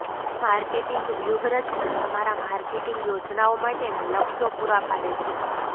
marketing વ્યૂહરચના તમારા marketing યોજનાઓ માટેના લક્ષ્યો પૂરા પાડે છે